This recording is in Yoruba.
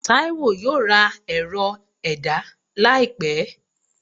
Taiwo yóò ra erò- ẹda laípe